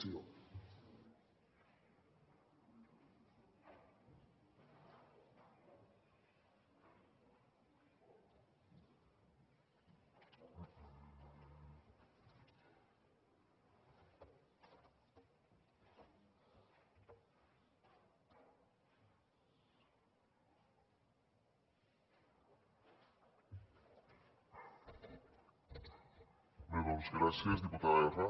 bé doncs gràcies diputada erra